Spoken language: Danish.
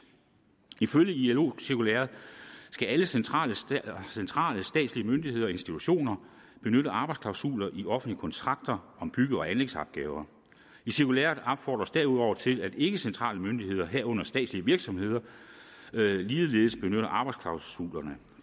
ifølge ilo cirkulæret skal alle centrale centrale statslige myndigheder og institutioner benytte arbejdsklausuler i offentligt kontrakter om bygge og anlægsopgaver i cirkulæret opfordres derudover til at ikkecentrale myndigheder herunder statslige virksomheder ligeledes benytter arbejdsklausulerne